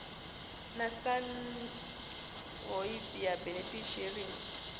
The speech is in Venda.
na san hoodia benefit sharing